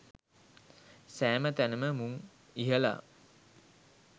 සෑම තැනම මුං ඉහලා